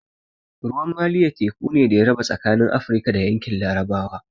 Ruwan Maliya teku ne da ya raba tsakanin Afrika da yankin larabawa